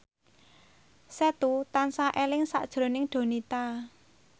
Setu tansah eling sakjroning Donita